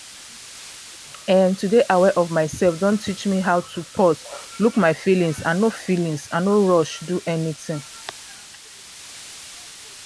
ehn to dey aware of myself don teach me how to pause look my feelings and no feelings and no rush do anything.